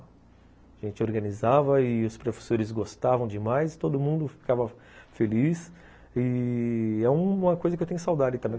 A gente organizava e os professores gostavam demais, todo mundo ficava feliz e é uma coisa que eu tenho saudade também.